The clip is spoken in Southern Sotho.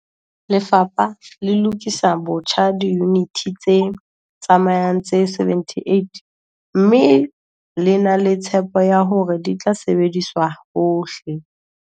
Lefapha le lokisa botjha diyuniti tse tsamayang tse 78 mme le na le tshepo ya hore di tla sebediswa hohle